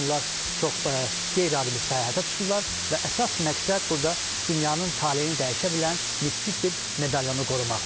Onlar çox qeyri-adi bir səyahətə çıxırlar və əsas məqsəd burada dünyanın taleyini dəyişə bilən mistik bir medalyonu qorumaqdır.